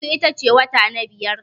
Mayu ita ce wata na biyar.